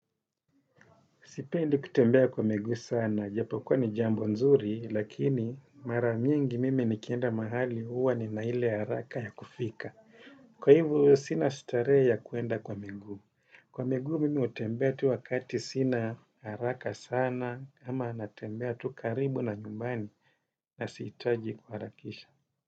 Sipendi kutembea kwa miguu sana, japo kwa ni jambo nzuri, lakini mara nyingi mimi nikienda mahali, huwa nina ile haraka ya kufika. Kwa hivo sina starehe ya kuenda kwa miguu. Kwa miguu mimi hutembea tu wakati sina haraka sana, ama natembea tu karibu na nyumbani na sihitaji kuharakisha.